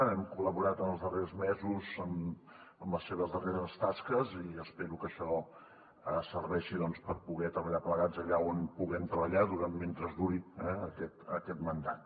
hem col·laborat en els darrers mesos en les seves darreres tasques i espero que això serveixi per poder treballar plegats allà on puguem treballar mentre duri aquest mandat